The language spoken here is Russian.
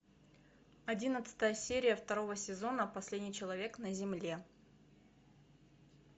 одиннадцатая серия второго сезона последний человек на земле